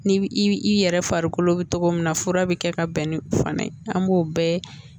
Ni i yɛrɛ farikolo bɛ cogo min na fura bɛ kɛ ka bɛn ni fana ye an b'o bɛɛ